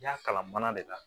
I y'a kalan mana de la